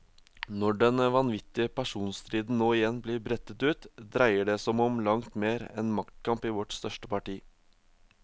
Når den vanvittige personstriden nå igjen blir brettet ut, dreier det som om langt mer enn maktkamp i vårt største parti.